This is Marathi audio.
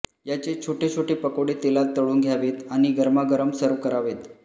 याचे छोटे छोटे पकोडे तेलात तळून घ्यावेत आणि गरमागरम सर्व्ह करावेत